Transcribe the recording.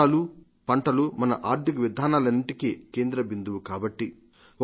వర్షాలు పంటలు మన ఆర్థిక విధానాలన్నింటికీ కేంద్ర బిందువు కాబట్టి